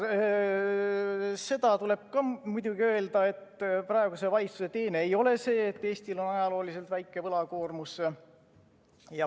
Seda tuleb ka muidugi öelda, et praeguse valitsuse teene ei ole see, et Eestil on ajalooliselt väike võlakoormus.